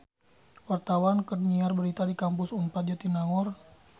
Wartawan keur nyiar berita di Kampus Unpad Jatinangor